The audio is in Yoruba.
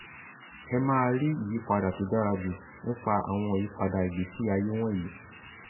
ẹ máa rí ìyípadà tó dára jù nípa àwọn ìyípadà ìgbésí ayé wọ̀nyí